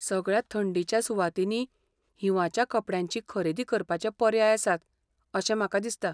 सगळ्या थंडीच्या सुवातींनी हिंवाच्या कपड्यांची खरेदी करपाचे पर्याय आसात अशें म्हाका दिसता.